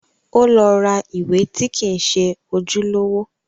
Ó lọ ra ìwé tí kìí ṣe ojúlówó